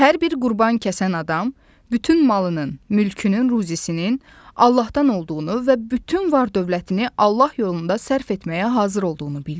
Hər bir qurban kəsən adam bütün malının, mülkünün, ruzisinin Allahdan olduğunu və bütün var-dövlətini Allah yolunda sərf etməyə hazır olduğunu bildirir.